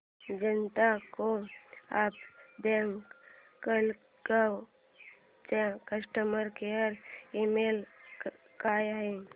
जनता co-op bank Malegaon चा customer care email काय आहे